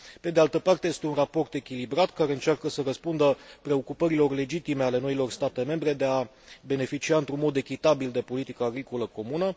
pe de altă parte, este un raport echilibrat, care încearcă să răspundă preocupărilor legitime ale noilor state membre de a beneficia într un mod echitabil de politica agricolă comună.